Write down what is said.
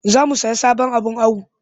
Za mu sayi sabon abin awo